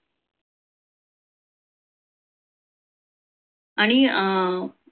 आणि अं